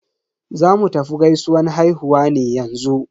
Zamu tafi gaisuwan haihuwa ne yanzu.